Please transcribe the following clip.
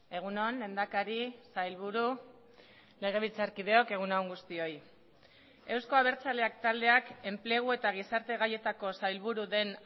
egun on lehendakari sailburu legebiltzarkideok egun on guztioi euzko abertzaleak taldeak enplegu eta gizarte gaietako sailburu den